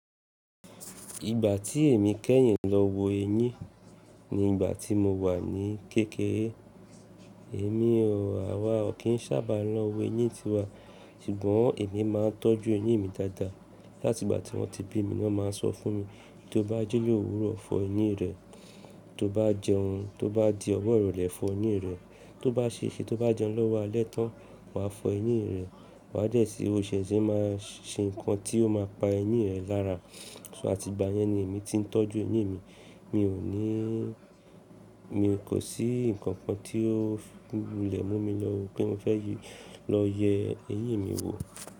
Ìgbà tí èmi kẹ́yìn lọ wo eyín ni ìgbà tí mo wà ní kékeré. Èmi o, àwa ò kí n sábà lọ wo eyín tiwa, ṣùgbọ́n èmi máa ń tọ́jú eyín mi dáadáa. Látìgbà tí wọ́n ti bí mi, wọ́n máa ń sọ fún mi, tí o bá jílòwúrọ̀ fọ eyín rẹ, tó bá jẹ tó bá di ọwọ́ ròlẹ́ fọ eyín rẹ, tó bá ṣe ìṣe tó bá jẹun lọ́wọ́ alẹ́tọ́n, wàá fọ eyín rẹ, wà á dẹ̀ sí òṣìṣẹ́ máa ṣe nǹkan tí ó máa pa eyín rẹ lára. So àti ìgbà yẹn ni èmi ti ń tọ́jú eyín mi. Mi ò ní, mi kò sí nǹkan kan tí ó lẹ̀ mú mi yọ wò pé mo fẹ́ lọ yẹ eyín mi wò.